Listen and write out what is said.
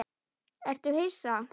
Ertu hissa?